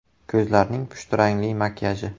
Ko‘zlarning pushti rangli makiyaji .